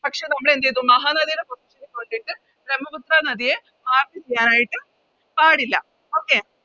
പക്ഷെ നമ്മളെന്തേയ്‌തു മഹാനദിയുടെ ബ്രമ്മപുത്ര നദിയെ Mark ചെയ്യാനായിട്ട് പാടില്ല Okay